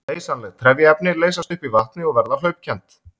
Leysanleg trefjaefni leysast upp í vatni og verða hlaupkennd.